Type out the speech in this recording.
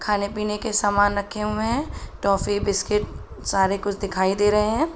खाने-पीने के समान रखे हुए हैं। टॉफी बिस्किट सारे कुछ दिखाई दे रहे हैं।